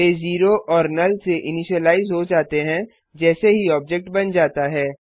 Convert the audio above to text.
वे 0 और नुल से इनिशिलाइज हो जाते हैं जैसे ही ऑब्जेक्ट बन जाता है